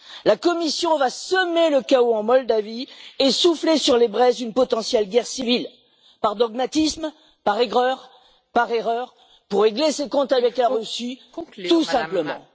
La Commission va semer le chaos en Moldavie et souffler sur les braises d'une potentielle guerre civile par dogmatisme, par aigreur, par erreur, pour régler ses comptes avec la Russie, tout simplement.